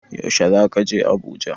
Yaushe zaka je Abuja?